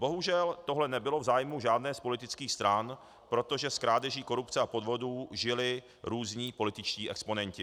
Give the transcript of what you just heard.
Bohužel tohle nebylo v zájmu žádné z politických stran, protože z krádeží, korupce a podvodů žili různí političtí exponenti.